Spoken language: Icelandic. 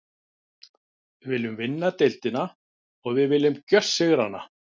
Við viljum vinna deildina og við viljum gjörsigra hana.